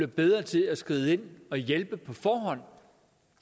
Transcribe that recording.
bedre til at skride ind og hjælpe på forhånd